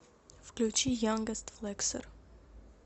включи янгест флексер